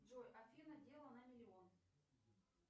джой афина дело на миллион